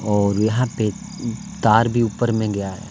और यहां पे तार भी ऊपर में गया है।